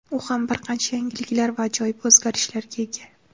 U ham bir qancha yangiliklar va ajoyib o‘zgarishlarga ega.